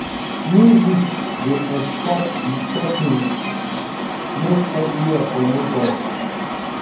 music go escort di choppings make evriwhere for no dull